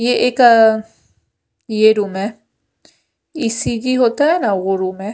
ये एक ये रूम है ई_सी_जी होता है ना ओ रूम है।